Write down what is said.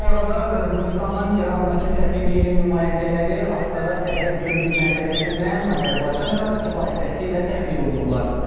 Bu arada Qırğızıstanın İrandakı səfirliyinin nümayəndələri Astara sərhəd gömrük məntəqəsindən Azərbaycan ərazisi vasitəsilə təxliyə olunublar.